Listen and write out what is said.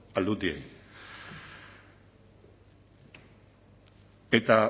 aldundiei eta